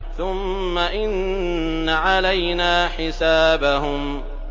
ثُمَّ إِنَّ عَلَيْنَا حِسَابَهُم